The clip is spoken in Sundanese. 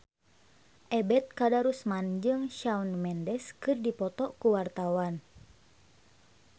Ebet Kadarusman jeung Shawn Mendes keur dipoto ku wartawan